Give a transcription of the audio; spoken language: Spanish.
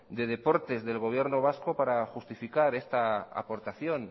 de deportes del gobierno vasco para justificar esta aportación